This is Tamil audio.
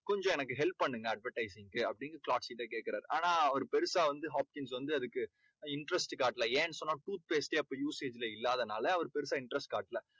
கொஞ்சம் எனக்கு help பண்ணுங்க advertise சுக்கு அப்படீன்னு கேக்குராரு. ஆனா அவரு பெரிசா வந்து அதுக்கு interest காட்டலை. ஏன்னு சொன்னா tooth paste டே அப்போ usage ல இல்லாததுனால அவர் பெருசா interest காட்டலை.